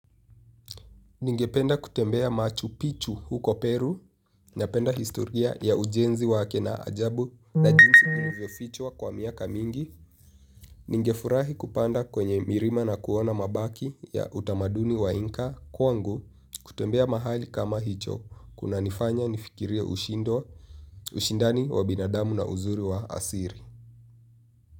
Ningependa kutembea Machu Picchu huko Peru, napenda historia ya ujenzi wake na ajabu na jinsi ilivyo fichwa kwa miaka mingi. Ningefurahi kupanda kwenye milima na kuona mabaki ya utamaduni wa Inca kwangu kutembea mahali kama hicho kuna nifanya nifikiria ushindani wa binadamu na uzuri wa asiri.